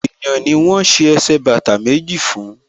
Èèyàn ni wọ́n ṣe ẹsẹ̀ bàtà méjì fún